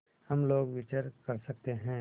हम लोग विचर सकते हैं